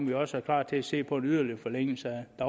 vi også er klar til at se på en yderligere forlængelse af